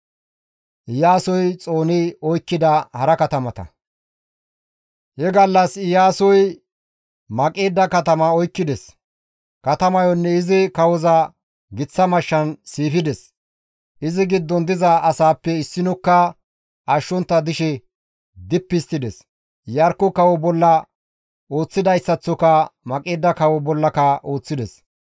He gallas Iyaasoy Maqeeda katama oykkides; katamayonne izi kawoza giththa mashshan siifides; izi giddon diza asaappe issinokka ashshontta dishe dippi histtides; Iyarkko kawo bolla ooththidayssaththoka Maqeeda kawo bollaka ooththides.